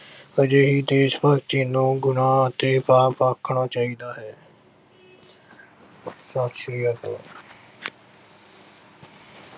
ਅਜਿਹੀ ਦੇਸ਼-ਭਗਤੀ ਨੂੰ ਗੁਨਾਹ ਅਤੇ ਪਾਪ ਆਖਣਾ ਚਾਹੀਦਾ ਹੈ ਸਤਿ ਸ਼੍ਰੀ ਅਕਾਲ।